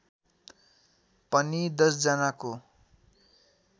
पनि १० जनाको